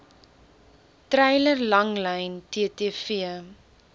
treiler langlyn ttv